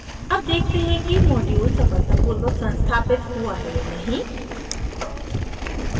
अब देखते हैं कि मॉड्यूल सफलतापूर्वक संस्थापित हुआ है या नहीं